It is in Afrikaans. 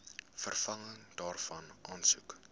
vervanging daarvan aansoek